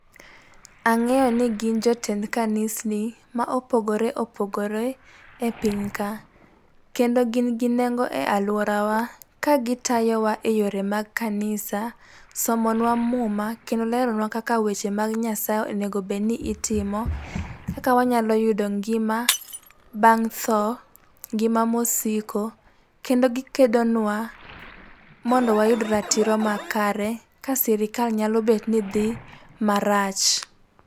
Ang'eyo ni gin jotend kanisni, ma opogoreopogore e piny ka. Kendo gin gi nengo e alworawa, ka gitayowa e yore mag kanisa, somonwa muma kendo leronwa kaka weche mag Nyasaye onego obed ni itimo, kaka wanyalo yudo ngima bang' tho, ngima mosiko. Kendo gikedonwa mondo wayud ratiro makare ka sirikal nyalo bet ni dhi marach.